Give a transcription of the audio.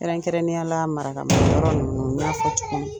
Kɛrɛnkɛrɛnya la maraka ninnu